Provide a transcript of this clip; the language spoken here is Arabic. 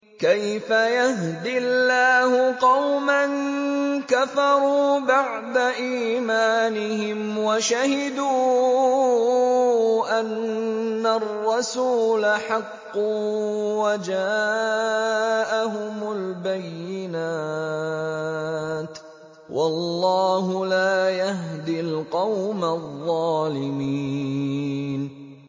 كَيْفَ يَهْدِي اللَّهُ قَوْمًا كَفَرُوا بَعْدَ إِيمَانِهِمْ وَشَهِدُوا أَنَّ الرَّسُولَ حَقٌّ وَجَاءَهُمُ الْبَيِّنَاتُ ۚ وَاللَّهُ لَا يَهْدِي الْقَوْمَ الظَّالِمِينَ